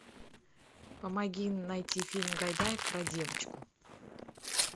помоги найти фильм гайдая про девочку